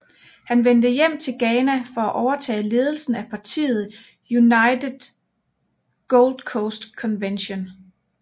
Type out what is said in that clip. Han vendte hjem til Ghana for at overtage ledelsen af partiet United Gold Coast Convention